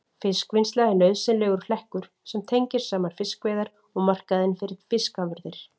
Fiskvinnsla er nauðsynlegur hlekkur sem tengir saman fiskveiðar og markaðinn fyrir fiskafurðir.